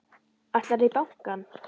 Ætlarðu í bankann?